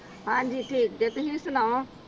ਹਾਂਜੀ ਠੀਕ ਜੇ ਤੁਸੀਂ ਸਨਾਓ